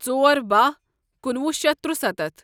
ژۄر باہ کُنوُہ شیتھ ترُسَتتھ